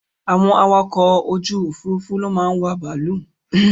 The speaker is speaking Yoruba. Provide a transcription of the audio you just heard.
Àwọn awakọ̀ ojú òfúrúúfú ló máa ń wà bàálù